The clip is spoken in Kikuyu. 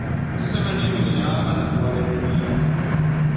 Tũcemanie mũthenya wa kana kũarĩrĩria.